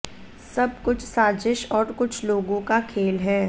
सब कुछ साजिश और कुछ लोगों का खेल है